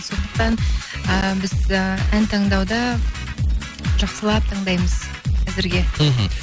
сондықтан ііі біз і ән таңдауда жақсылап таңдаймыз әзірге мхм